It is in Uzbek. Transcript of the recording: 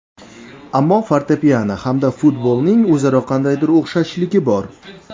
Ammo fortepyano hamda futbolning o‘zaro qandaydir o‘xshashligi bor.